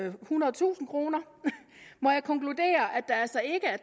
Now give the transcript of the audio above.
ethundredetusind kr må jeg konkludere at der altså ikke er